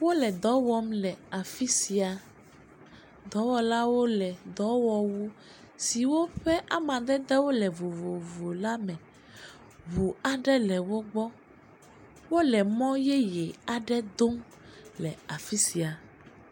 Wole dɔwɔm le afisia, dɔwɔlawo le dɔwɔwu siwo ƒe amadede wo le vovovo la me, ʋu aɖe le wo gbɔ, wole mɔ yeye aɖe dom le afisia.